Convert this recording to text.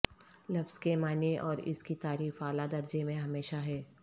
لفظ کے معنی اور اس کی تعریف اعلی درجے میں ہمیشہ ہے